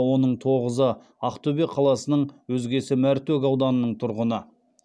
оның тоғызы ақтөбе қаласының өзгесі мәртөк ауданының тұрғыны